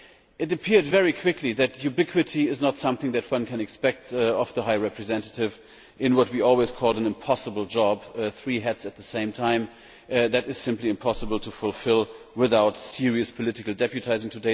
It became clear very quickly that ubiquity is not something that one can expect of the High Representative in what we always called an impossible job three hats at the same time is simply impossible to fulfil without serious political deputising.